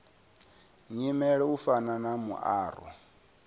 nyimele u fana na muaro